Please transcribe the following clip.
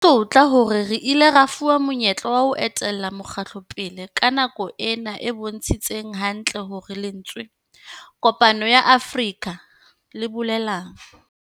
Ke tlotla hore re ile ra fuwa monyetla wa ho etella mokgatlo pele ka nako ena e bontshitseng hantle hore lentswe Kopano ya Afrika le bolelang.